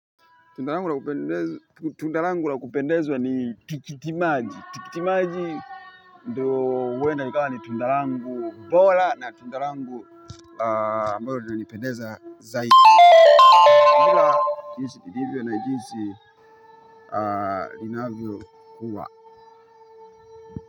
Tunda langu la kupendezwa ni tikitimaji. Tikitimaji, ndio huenda ikawa ni tunda langu bora na tunda langu ambalo linanipendeza zaidi. Ila jinsi ndivyo na jinsi linavyo kuwa.